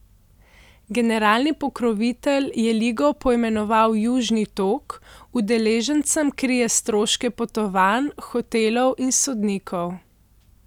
Generalni pokrovitelj je ligo poimenoval Južni tok, udeležencem krije stroške potovanj, hotelov in sodnikov.